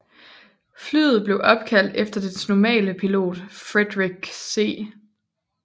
Flyet blev opkaldt efter dets normale pilot Frederick C